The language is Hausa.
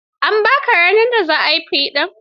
An ba ka ranar da za a yi fiɗar?